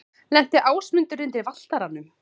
Lenti Ásmundur undir Valtaranum?